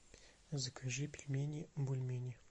закажи пельмени бульмени